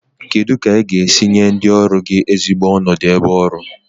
Kedu ka ị ga-esi nye ndị ọrụ gị ezigbo onodu ebe ọrụ?